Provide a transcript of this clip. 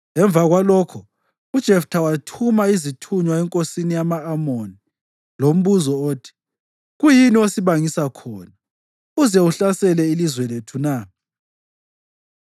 Emva kwalokho uJeftha wathuma izithunywa enkosini yama-Amoni lombuzo othi: “Kuyini osibangisa khona uze uhlasele ilizwe lethu na?”